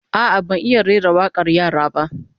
A'a, ban iya rera wakar yara ba